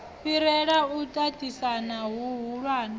fhirela u tatisana hu hulwane